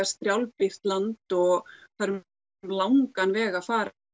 strjálbýlt land og það er um langan veg að fara